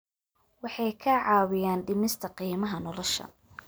Waxay ka caawiyaan dhimista qiimaha nolosha.